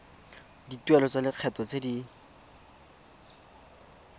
dituelo tsa lekgetho tse di